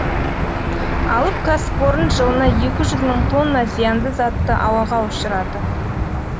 алып кәсіпорын жылына екі жүз мың тонна зиянды затты ауаға ұшырады